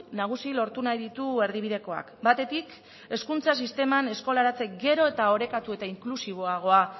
nagusi lortu nahi ditu erdibidekoak batetik hezkuntza sisteman eskolaratze gero eta orekatu eta inklusiboagoa